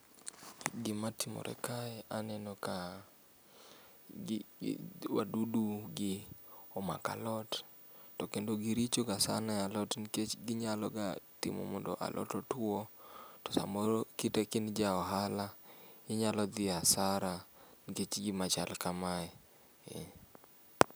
Gima timore kae aneno kaa gi gi wadudugi omako alot tokendo girichoga sana e alot nikech ginyaloga timo mondo alot otuo. To samoro kite kain ja ohala inyalo dhi hasara nikech gima chal kamae ee.